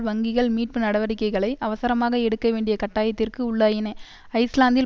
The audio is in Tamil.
வங்கிகள் மீட்பு நடவடிக்கைகளை அவசரமாக எடுக்க வேண்டிய கட்டாயத்திற்கு உள்ளாயின ஐஸ்லாந்தில்